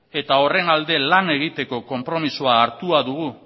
eta horren alde lan egiteko konpromisoa hartua dugu